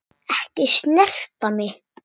Ekki snerta mig.